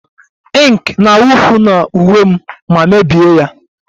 Ink na-awụfu na uwe m ma mebie ya